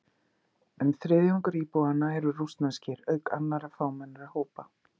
Um þriðjungur íbúanna eru rússneskir, auk annarra fámennari hópa.